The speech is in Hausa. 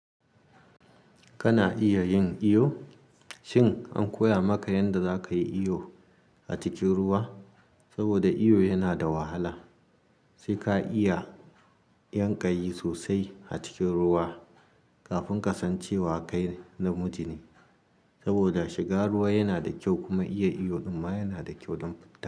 Kana iya yin iyo? Shin an koya maka yanda zaka yi iyo a cikin ruwa? Saboda iyo yana da wahala, sai ka iya yan ƙayi sosai a cikin ruwa kafin ka san cewa kai namiji ne. Saboda shiga ruwa yana da kyau kuma iya iyo ɗumma yana da kyau don fita.